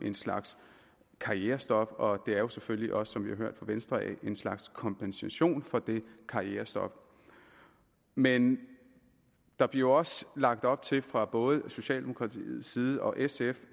en slags karrierestop og det er jo selvfølgelig også som vi har hørt fra venstre en slags kompensation for det karrierestop men der bliver også lagt op til fra både socialdemokratiets side og sfs